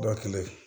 Dɔ kelen